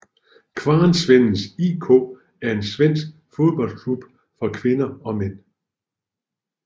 Kvarnsvedens IK er en svensk fodboldklub for kvinder og mænd